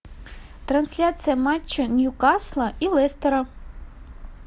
трансляция матча ньюкасла и лестера